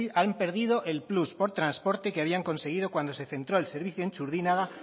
han perdido el plus por transporte que habían conseguido cuando se centró el servicio en txurdinaga